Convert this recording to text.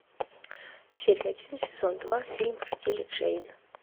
серия один сезон два фильм в стиле джейн